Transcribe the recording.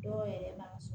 Dɔw yɛrɛ la